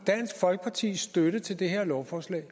i dansk folkepartis støtte til det her lovforslag